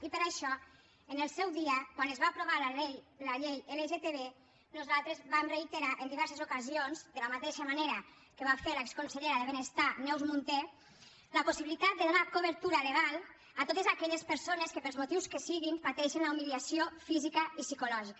i per això en el seu dia quan es va aprovar la llei lgtb nosaltres vam reiterar en diverses ocasions de la mateixa manera que va fer l’exconsellera de benestar neus munté la possibilitat de donar cobertura legal a totes aquelles persones que pels motius que siguin pateixen la humiliació física i psicològica